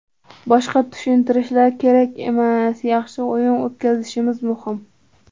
Boshqa tushuntirishlar kerak emas, yaxshi o‘yin o‘tkazishimiz muhim.